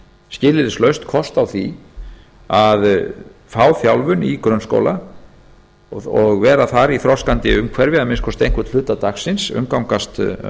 skilyrðislaust kost á því að fá þjálfun í grunnskóla og vera þar í þroskandi umhverfi að minnsta kosti einhvern hluta dagsins umgangast